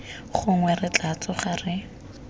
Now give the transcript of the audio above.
gongwe re tla tsoga re